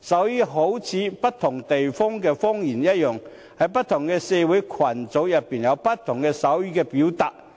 一如不同地方有不同的方言，不同的社會群組亦同樣有不同的手語表達方法。